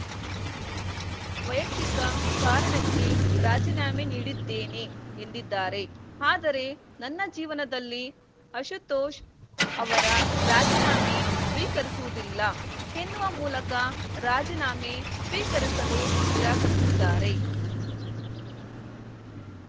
ವೈಯಕ್ತಿಕ ಕಾರಣಕ್ಕೆ ರಾಜೀನಾಮೆ ನೀಡಿದ್ದೇನೆ ಎಂದಿದ್ದಾರೆ ಆದರೆ ನನ್ನ ಜೀವನದಲ್ಲಿ ಆಶುತೋಷ್‌ ಅವರ ರಾಜೀನಾಮೆ ಸ್ವಿಕರಿಸುವುದಿಲ್ಲ ಎನ್ನುವ ಮೂಲಕ ರಾಜೀನಾಮೆ ಸ್ವಿಕರಿಸಲು ನಿರಾಕರಿಸಿದ್ದಾರೆ